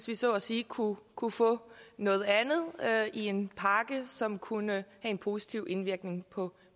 vi så at sige kunne kunne få noget andet i en pakke som kunne en positiv indvirkning på